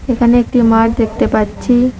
এখানে একটি মাঠ দেখতে পাচ্ছি।